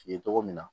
Ye cogo min na